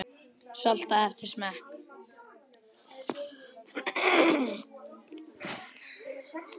Saltaðu eftir smekk.